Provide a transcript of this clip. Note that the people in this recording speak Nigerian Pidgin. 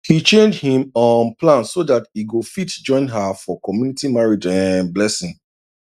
he change him um plan so that e go fit join her for community marriage um blessing